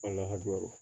Walahi